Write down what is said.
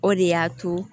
O de y'a to